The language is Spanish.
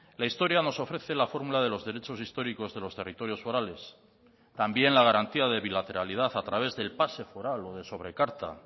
la historia nos ofrece la formula de los derechos históricos de los territorios forales también la garantía de bilateralidad a través del pase foral o de sobrecarta